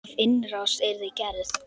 Ef innrás yrði gerð?